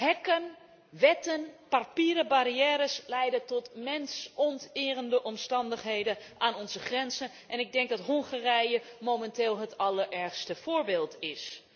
Hekken, wetten en papieren barrières leiden tot mensonterende omstandigheden aan onze grenzen en ik denk dat Hongarije momenteel het allerergste voorbeeld is.